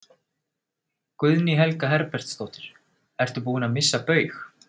Guðný Helga Herbertsdóttir: Ertu búinn að missa Baug?